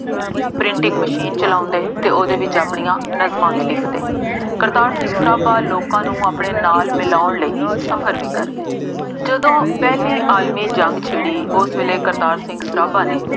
Printing machine ਚਲਾਉਂਦੇ ਅਤੇ ਉਹਦੇ ਵਿੱਚ ਆਪਣੀਆਂ ਨਜ਼ਮਾਂ ਵੀ ਲਿਖਦੇ। ਕਰਤਾਰ ਸਿੰਘ ਸਰਾਭਾ ਲੋਕਾਂ ਨੂੰ ਆਪਣੇ ਨਾਲ ਮਿਲਾਉਣ ਲਈ ਸਫਰ ਵੀ ਕਰਦੇ। ਜਦੋਂ ਪਹਿਲੀ ਆਲਮੀ ਜ਼ੰਗ ਛਿੜੀ, ਉਸ ਵੇਲੇ ਕਰਤਾਰ ਸਿੰਘ ਸਰਾਭਾ ਨੇ